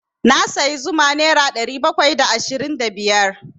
Na sayi zuma nera ɗari bakwai da ashirin da biyar.